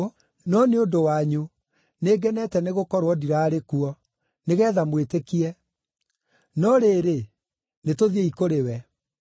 no nĩ ũndũ wanyu nĩngenete nĩgũkorwo ndiraarĩ kuo, nĩgeetha mwĩtĩkie. No rĩrĩ, nĩtũthiĩi kũrĩ we.”